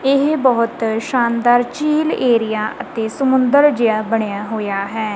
ਇਹ ਬਹੁਤ ਸ਼ਾਨਦਾਰ ਝੀਲ ਏਰੀਆ ਅਤੇ ਸਮੁੰਦਰ ਜੇਹਾ ਬਣਿਆ ਹੋਇਆ ਹੈ।